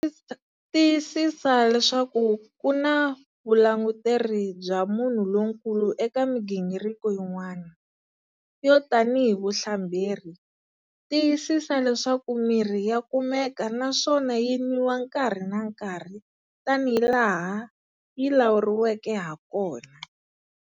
Tiyisisa leswaku ku na vulanguteri bya munhu lonkulu eka migingiriko yin'wana, yo tanihi vuhlamberi. Tiyisisa leswaku mirhi ya kumeka naswona yi nwiwa nkarhi na nkarhi tanihi laha yi lawuleriweke hakona.